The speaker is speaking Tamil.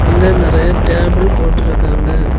அங்க நெறைய டேபிள் போட்ருக்காங்க.